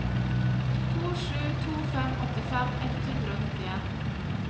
to sju to fem åttifem ett hundre og nittien